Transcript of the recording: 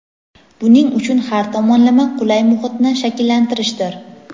buning uchun har tomonlama qulay muhitni shakllantirishdir.